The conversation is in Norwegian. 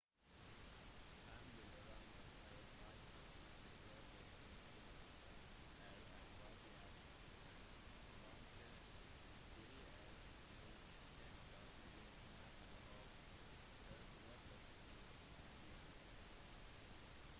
han ble ranet av pirater angrepet i tibet av en rabiat hund rømte fra et ekteskap i nepal og pågrepet i india